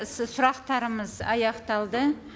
сұрақтарымыз аяқталды